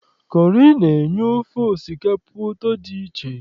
Kọrị na-enye ofe osikapa ụtọ dị iche.